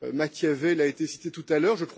Machiavel a été cité tout à l'heure.